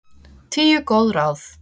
Tíu góð ráð